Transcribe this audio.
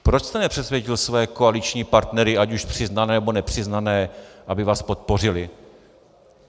Proč jste nepřesvědčil své koaliční partnery, ať už přiznané, nebo nepřiznané, aby vás podpořili?